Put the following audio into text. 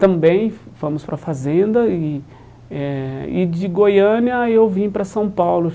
Também fomos para a fazenda e eh e de Goiânia eu vim para São Paulo.